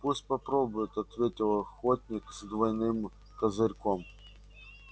пусть попробует ответил охотник с двойным козырьком